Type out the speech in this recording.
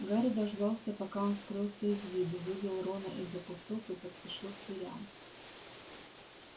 гарри дождался пока он скрылся из виду вывел рона из-за кустов и поспешил к дверям